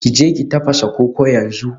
Ki je ki tafasa koko yanzu